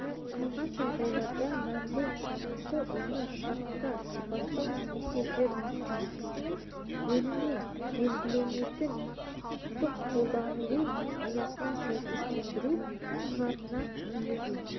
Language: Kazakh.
қалған жағдайларда мәміле нысанасы оны шартта сипаттау немесе жер учаскесінің бөлігіне белгіленетін құқықтың қолданылу аясын сәйкестендіру құжатына енгізу